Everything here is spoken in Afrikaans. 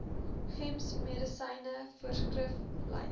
gems medisyne voorskriflys